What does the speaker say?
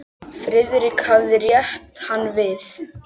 Friðrik hafði rétt hann við.